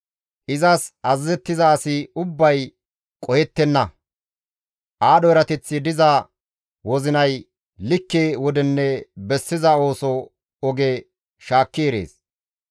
Izas azazettiza asi ubbay qohettenna; aadho erateththi diza wozinay likke wodenne bessiza ooso oge shaakki erees.